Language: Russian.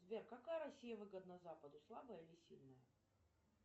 сбер какая россия выгодна западу слабая или сильная